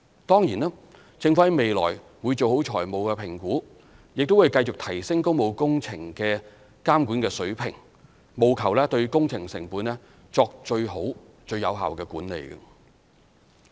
當然，政府在未來會做好財務評估，亦會繼續提升工務工程監管水平，務求對工程成本作最好和最有效的管理。